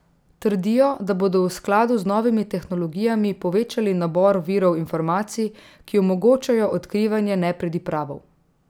Trdijo, da bodo v skladu z novimi tehnologijami povečali nabor virov informacij, ki omogočajo odkrivanje nepridipravov.